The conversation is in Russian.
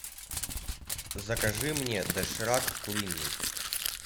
закажи мне доширак куриный